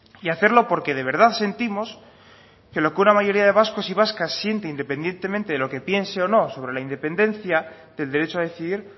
y hacerlo porque de verdad sentimos que lo que una mayoría de vascos y vascas sienten independientemente de lo que piense o no sobre la independencia del derecho a decidir